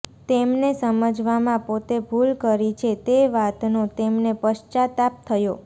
તેમને સમજવામાં પોતે ભૂલ કરી છે તે વાતનો તેમને પશ્ચાતાપ થયો